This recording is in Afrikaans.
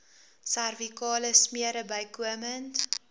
servikale smere bykomend